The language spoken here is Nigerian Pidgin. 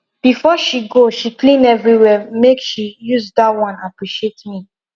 before she go she clean everywhere make she use that one appreciate me